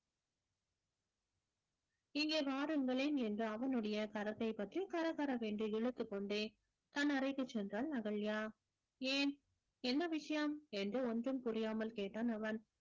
இங்கே வாருங்களேன் என்று அவனுடைய கரத்தை பற்றி கரகரவென்று இழுத்துக்கொண்டே தன் அறைக்கு சென்றாள் அகல்யா ஏன் என்ன விஷயம் என்று ஒண்ணும் புரியாமல் கேட்டான் அவன்